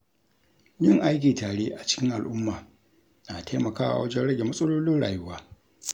Yin aiki tare a cikin al’umma na taimakawa wajen rage matsalolin rayuwa.